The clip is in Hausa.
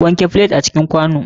Wanke flet a cikin kwano.